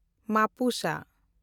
ᱢᱟᱯᱩᱥᱟ